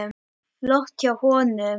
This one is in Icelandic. Flott hjá honum.